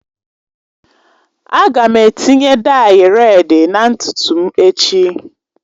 Aga m etinye dayi redị na ntutu m echi